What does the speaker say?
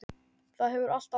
Það hefur allt áhrif.